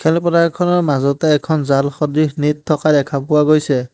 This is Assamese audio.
খেলপথাৰখনৰ মাজতে এখন জাল সদৃশ নেট থকা দেখা গৈছে।